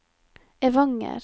Evanger